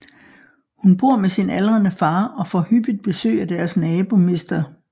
Hun bor med sin aldrende far og får hyppigt besøg af deres nabo mr